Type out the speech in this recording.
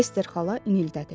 Ester xala inildədi.